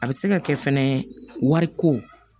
A bɛ se ka kɛ fɛnɛ wariko